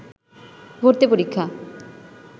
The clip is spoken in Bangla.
ভর্তি পরীক্ষা